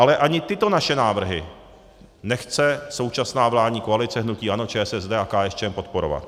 Ale ani tyto naše návrhy nechce současná vládní koalice hnutí ANO, ČSSD a KSČM podporovat.